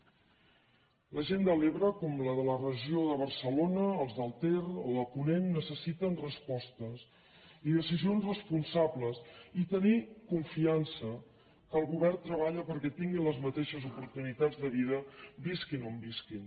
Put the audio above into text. la gent de l’ebre com la de la regió de barcelona els del ter o de ponent necessiten respostes i decisions responsables i tenir confiança que el govern treballa perquè tinguin les mateixes oportunitats de vida visquin on visquin